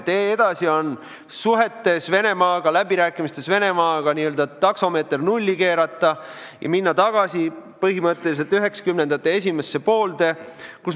Tee edasi on see, et suhetes Venemaaga, läbirääkimistes Venemaaga tuleb n-ö taksomeeter nulli keerata ja minna tagasi põhimõtteliselt üheksakümnendate esimesse poolde.